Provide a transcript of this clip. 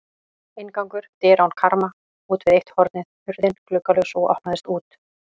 Inngangur: dyr án karma útvið eitt hornið, hurðin gluggalaus og opnaðist út.